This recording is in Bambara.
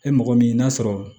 E mɔgɔ min n'a sɔrɔ